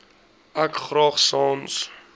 ek graag sans